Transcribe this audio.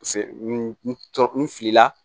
Se n tɔɔrɔ n filila